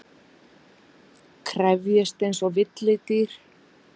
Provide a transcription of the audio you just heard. Krefjist einsog villidýr.